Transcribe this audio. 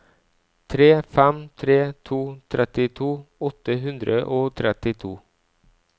tre fem tre to trettito åtte hundre og trettito